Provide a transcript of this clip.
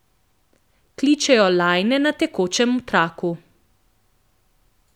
Kličejo lajne na tekočem traku.